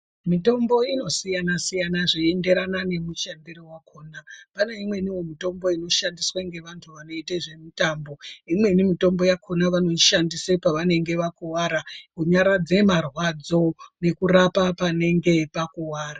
Mitombo inosiyana-siyana zveienderanda nemishando yakhona. Pane imweniwo mitombo inoshandiswa ngevantu vanoite zvemitambo. Imweni mitombo yakhona vanoishandise pevanenge vakuwara kunyaradze marwadzo ne kurapa panenge pakuwara.